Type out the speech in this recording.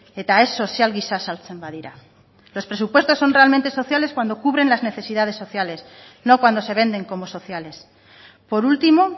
eta ez sozial giza saltzen badira los presupuestos son realmente sociales cuando cubren las necesidades sociales no cuando se venden como sociales por último